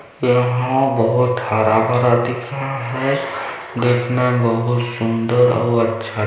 यहाँ बहोत हरा भरा दिख रहा हैं देखने में बहुत सुन्दर और अच्छा--